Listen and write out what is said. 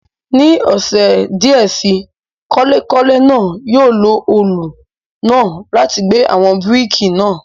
Ní àwọn ọ̀sẹ̀ díẹ̀ síi, kọ́lékọ́lé náà yóò lo òòlù náà láti gbẹ́ àwọn bíríkì náà.